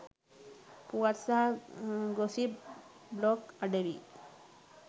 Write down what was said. පුවත් සහ gossip blog අඩවි